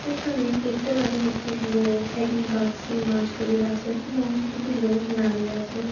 এখানে দেখতে পারি একটি লোক এটির বাক্সে মাছগুলির রাখে এবং দুটি লোক দাঁড়িয়ে আছেন।